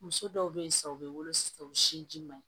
Muso dɔw be yen sa u be wolo sisan u sin ji man ɲi